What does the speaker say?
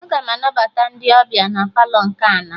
Aga m anabata ndị ọbịa na Palọ nke ana